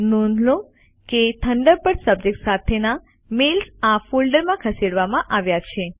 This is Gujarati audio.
નોંધ લો કે થંડરબર્ડ સબ્જેક્ટ સાથેના મેઈલ્સ આ ફોલ્ડરમાં ખસેડવામાં આવ્યા છે